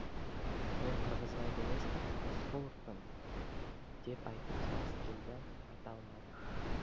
мен қырғызбаев емеспін рысқұловпын деп айтып салғысы келді айта алмады